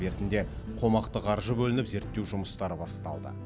бертінде қомақты қаржы бөлініп зерттеу жұмыстары басталды